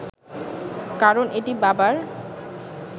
কারণ এটি বাবার